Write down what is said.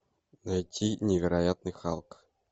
найти невероятный халк